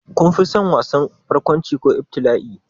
Kun fi son wasan barkwanci ko ibtila'i?